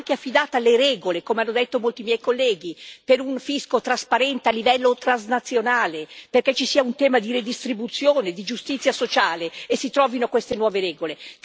Ma tale leadership deve anche essere affidata alle regole, come hanno detto molti miei colleghi, per un fisco trasparente a livello transnazionale, perché ci sia un tema di redistribuzione, di giustizia sociale, e si trovino queste nuove regole.